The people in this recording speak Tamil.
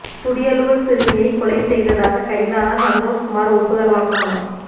துடியலூர் சிறுமியை கொலை செய்ததாக கைதான சந்தோஷ் குமார் ஒப்புதல் வாக்குமூலம்